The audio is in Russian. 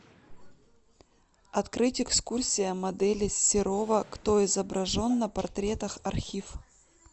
открыть экскурсия модели серова кто изображен на портретах архив